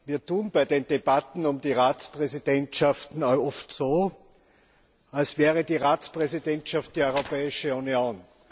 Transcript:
Wir tun bei den Debatten über die Ratspräsidentschaften oft so, als wäre die Ratspräsidentschaft die Europäische Union.